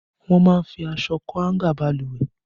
Wọ́n máa ń fi aṣọ kọ́ háńgà Balùwẹ̀